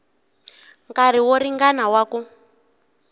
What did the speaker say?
nkarhi wo ringana wa ku